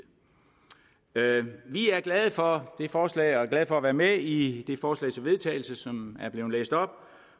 er glade for det forslag og glade for at være med i det forslag til vedtagelse som er blevet læst op